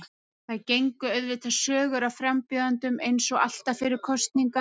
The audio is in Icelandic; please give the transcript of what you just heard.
Það gengu auðvitað sögur af frambjóðendum eins og alltaf fyrir kosningar.